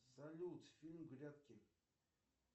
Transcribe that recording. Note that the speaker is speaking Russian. салют фильм грядки